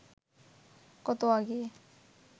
কত আগে